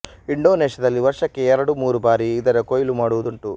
ಇಂಡೊನೇಷ್ಯದಲ್ಲಿ ವರ್ಷಕ್ಕೆ ಎರಡು ಮೂರು ಬಾರಿ ಇದರ ಕೊಯ್ಲು ಮಾಡುವುದುಂಟು